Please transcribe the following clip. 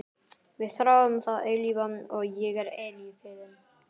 Við þráum það eilífa og ég er eilífðin.